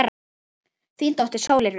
Þín dóttir, Sóley Rut.